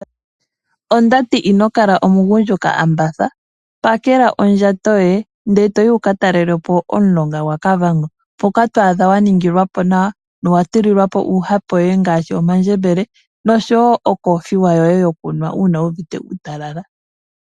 Ondati inokala omugundjuka ambatha, pakela ondjato yoye ndele etoyi wuka talelepo omulonga gwa Kavango. Mpoka to adha wa ningilwa po nawa nowa tulilwapo uuhape woye ngaashi omandjembele, nosho wo okoothiwa yoye yokunwa uunawu uvite uutalala.